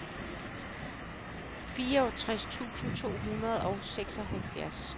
fireogtres tusind to hundrede og seksoghalvfjerds